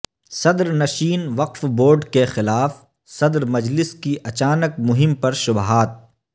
صدرنشین وقف بورڈ کے خلاف صدر مجلس کی اچانک مہم پر شبہات